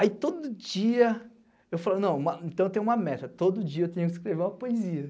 Aí, todo dia... Eu falei, não, então, eu tenho uma meta, todo dia eu tenho que escrever uma poesia.